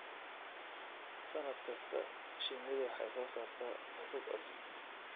Sannad kasta, shinnidu waxay soo saartaa rug cusub.